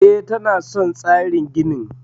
E, tana son tsarin ginin.